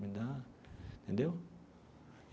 Me dá... Entendeu?